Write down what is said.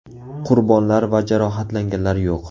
Qurbonlar va jarohatlanganlar yo‘q.